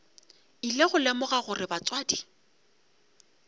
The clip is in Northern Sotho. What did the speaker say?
ile go lemoga gore batswadi